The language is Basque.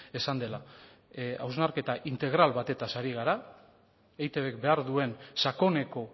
esan dela hausnarketa integral batetaz ari gara eitbek behar duen sakoneko